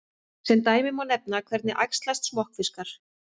Sem dæmi má nefna: Hvernig æxlast smokkfiskar?